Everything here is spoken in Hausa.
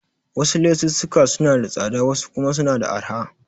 Wasu lesussuka suna da tsada wasu kuma suna da arha.